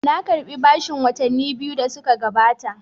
Na karɓi bashin watanni biyu da suka gabata.